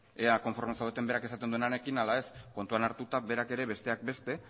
ea konforme zaudeten berak esaten duenarekin ala ez kontuan hartuta berak ere besteak beste